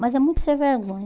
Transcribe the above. Mas é muito ser vergonha.